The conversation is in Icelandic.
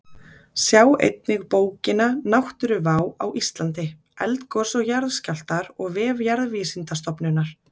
Sjá einnig bókina Náttúruvá á Íslandi: Eldgos og jarðskjálftar og vef Jarðvísindastofnunar.